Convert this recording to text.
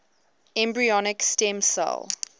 embryonic stem cell